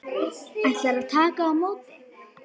Ætlar að taka á móti.